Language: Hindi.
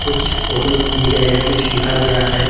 कुछ फोटोस दिए गए हैं कुछ लिखा गया है।